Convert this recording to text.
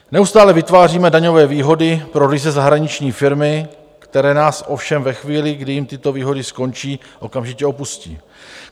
Neustále vytváříme daňové výhody pro ryze zahraniční firmy, které nás ovšem ve chvíli, kdy jim tyto výhody skončí, okamžitě opustí.